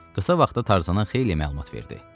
Qısa vaxtda Tarzana xeyli məlumat verdi.